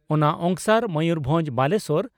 ᱚᱱᱟ ᱚᱝᱥᱟᱨ ᱢᱚᱭᱩᱨᱵᱷᱚᱸᱡᱽ ᱵᱟᱞᱮᱥᱚᱨ